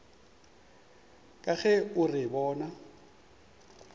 ka ge o re bona